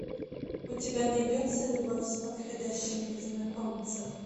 у тебя найдется любовь с подходящим незнакомцем